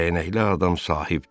Dəyənəkli adam sahibdir.